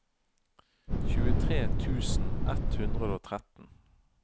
tjuetre tusen ett hundre og tretten